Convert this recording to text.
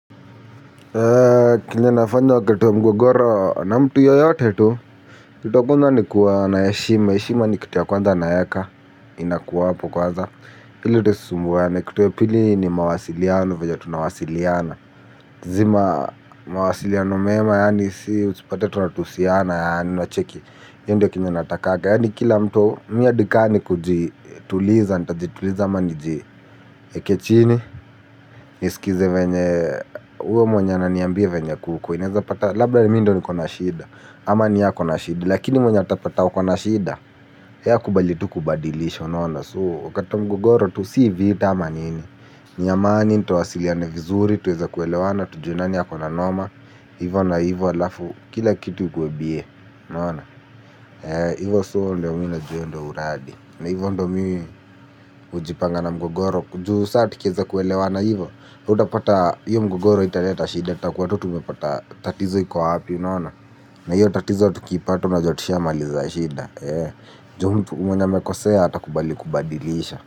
Kenye nafanya wakati wa mgogoro na mtu yoyote tu. Kitu ya kwanza ni kuwa na heshima, heshima ni kitu ya kwanza naeka. Inakuwa hapo kwanza ili tusisumbuane. Kitu ya pili ni mawasiliano vyenye tunawasiliana zima mawasiliano mema yaani si usipate tunatusiana yaani unacheki io ndio kenye natakaga yaani kila mtu mi hadi ka ni kujituliza, nitajituliza ama nijieke chini. Nisikize venye uyo mwenye ananiambia venye kuko. Inaeza pata labla ni mi ndo niko na shida. Ama ni yeye ako na shida. Lakini mwenye atapata wako na shida ye akubali tu kubadilisha unaona. So wakati mgogoro tu si vita ama nini. Ni amani tuwasiliane vizuri tuweze kuelewana tujue nani ako na noma. Hivo na hivo alafu kila kitu ikuwe bie. Ivo so mi ndio najua io ndio uradi na hivo ndio mi hujipanga na mgogoro juu saa tukieza kuelewana hivo. Utapata hiyo mgogoro haitaleta shida tutakuwa tu tumepata tatizo iko wapi unaona. Na hiyo tatizo tukipata unajua tushamaliza shida ndio mtu mwenye amekosea atakubali kubadilisha.